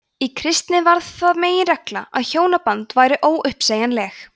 í kristni varð það meginregla að hjónabönd væru óuppsegjanleg